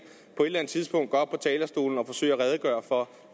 på et eller andet tidspunkt gå op på talerstolen og forsøge at redegøre for